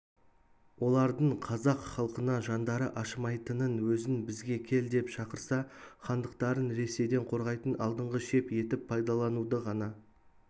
олардың қазақ халқына жандары ашымайтынын өзін бізге кел деп шақырса хандықтарын ресейден қорғайтын алдыңғы шеп етіп пайдалануды ғана